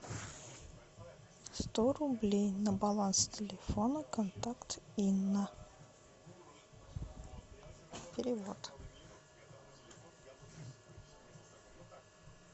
сто рублей на баланс телефона контакт инна перевод